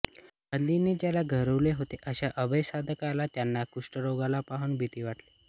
गांधींनी ज्याला गौरविले होते अश्या अभयसाधकाला त्या कुष्ठारोग्याला पाहून भीती वाटली